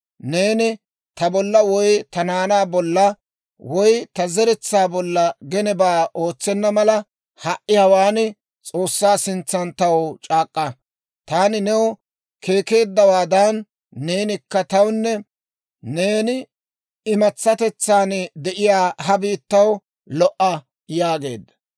Neeni ta bolla woy ta naanaa bolla woy ta zeretsaa bolla genebaa ootsenna mala, ha"i hawaan, S'oossaa sintsan taw c'aak'k'a; taani new keekeeddawaadan, neenikka tawunne neeni imatsatetsan de'iyaa ha biittaw lo"a» yaageedda.